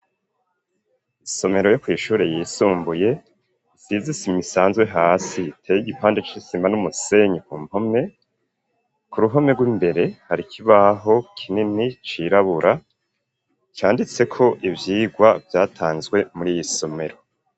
Isomero, yo kw'ishure yisumbuye, isize isima isanzwe hasi; iteye igipande c'isima n'umusenyi, ku mpome; ku ruhome rw'imbere, hari kibaho kinini, cirabura, canditseko ivyigwa, vyatanzwe muri iyi somero.